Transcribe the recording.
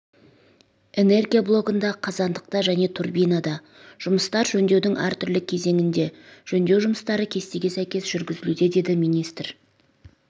энергия блогында қазандықта және турбинада жұмыстар жөндеудің әртүрлі кезеңінде жөндеу жұмыстары кестеге сәйкес жүргізілуде деді министр